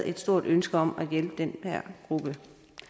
et stort ønske om at hjælpe den gruppe